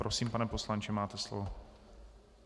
Prosím, pane poslanče, máte slovo.